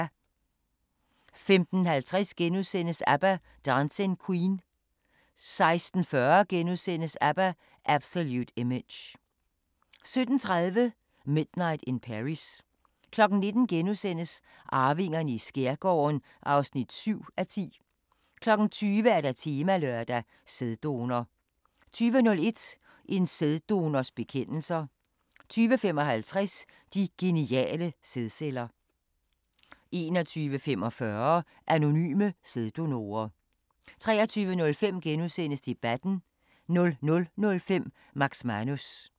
15:50: ABBA – Dancing Queen * 16:40: ABBA – Absolute Image * 17:30: Midnight in Paris 19:00: Arvingerne i skærgården (7:10)* 20:00: Temalørdag: Sæddonor 20:01: En sæddonors bekendelser 20:55: De geniale sædceller 21:45: Anonyme sæddonorer 23:05: Debatten * 00:05: Max Manus